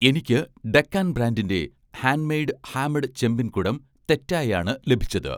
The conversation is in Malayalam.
എനിക്ക് 'ഡെക്കാൻ' ബ്രാൻഡിൻ്റെ ഹാൻഡ് മെയ്ഡ് ഹാമഡ് ചെമ്പിൻ കുടം തെറ്റായി ആണ് ലഭിച്ചത്